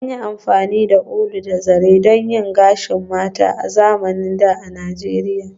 An yi amfani da ulu da zare don yin gashin mata a zamanin da a Nijeriya